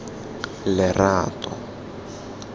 lerato